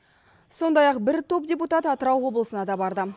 сондай ақ бір топ депутат атырау облысына да барды